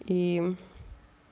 и